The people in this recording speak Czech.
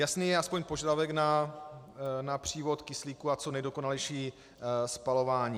Jasný je alespoň požadavek na přívod kyslíku a co nejdokonalejší spalování.